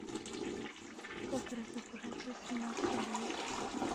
как разобраться с самим собой